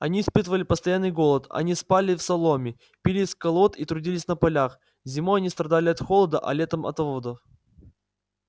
они испытывали постоянный голод они спали в соломе пили из колод и трудились на полях зимой они страдали от холода а летом от оводов